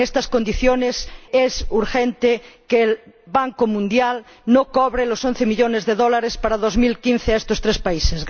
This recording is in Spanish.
En estas condiciones, es urgente que el Banco Mundial no cobre los once millones de dólares para 2015 a estos tres países.